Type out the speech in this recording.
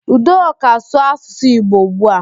Udoka, sụọ asụsụ Igbo ugbu a!